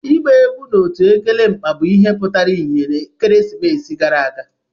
Ịgba egwu na otu Ugelemkpa bụ ihe pụtara ìhè ekeresimesi gara aga.